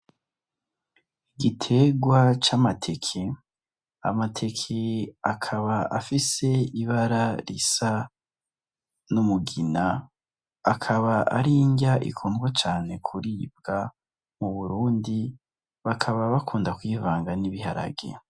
Igitegwa c'amateke. Amateke akaba afise ibara n'umugina akaba ari irnya ikundwa cane kuribga mu Burundi bakaba bakunda kuyivanga nibiharage.